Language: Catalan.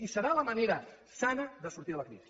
i serà la manera sana de sortir de la crisi